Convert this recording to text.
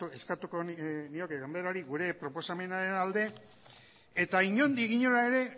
eskatuko nioke ganberari gure proposamenaren alde eta inondik inora ere